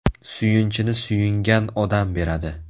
Suyunchini suyungan odam beradi.